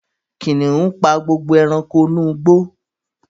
Kìnìún pa gbogbo ẹranko inú igbó